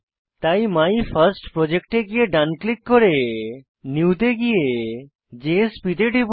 তাই মাইফার্স্টপ্রজেক্ট এ গিয়ে ডান ক্লিক করে নিউ তে গিয়ে জেএসপি তে টিপুন